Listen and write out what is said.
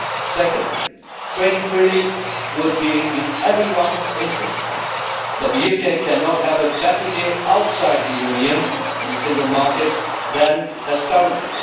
Second, trading freely would be in everyone's interest, but the UK cannot have a better deal outside the Union and the single market than it has currently.